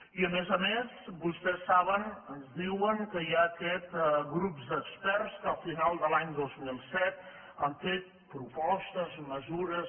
i a més a més vostès saben ens diuen que hi ha aquests grups d’experts que al final de l’any dos mil set han fet propostes mesures